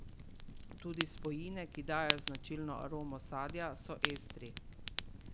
Tudi spojine, ki dajejo značilno aromo sadja, so estri.